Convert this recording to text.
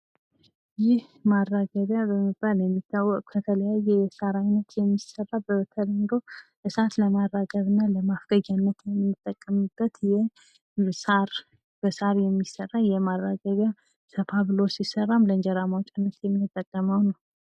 ይህ ማራጋቢያ በመባል የሚታወቅ ፤ ከተለያዩ የሳር አይነት የሚሰራ፣ በተለምዶ እሳት ለማራገብ እና ለማፍገግ የምንጠቀምበት በሳር የሚሰራ ማራገቢያ ፤ ሰፋ ብሎ ሲሰራም ለእንጀራ ማዉጫነት የምንጠቀመው ነው።